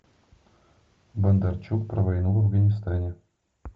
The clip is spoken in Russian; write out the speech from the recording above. бондарчук про войну в афганистане